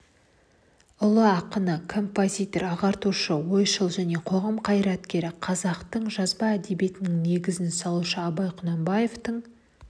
ұлы ақыны композитор ағартушы ойшыл және қоғам қайраткері қазақтың жазба әдебиетінің негізін салушы абай құнанбаевтың